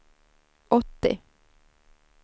åttio